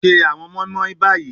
Se awọn moinmoin bayi